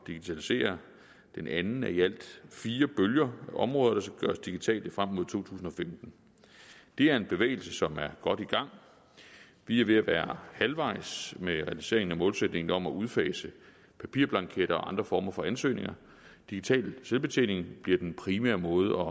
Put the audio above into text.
digitalisere den anden af i alt fire bølger områder der skal gøres digitale frem mod to tusind og femten det er en bevægelse som er godt i gang vi er ved at være halvvejs med realiseringen af målsætningen om at udfase papirblanketter og andre former for ansøgninger digital selvbetjening bliver den primære måde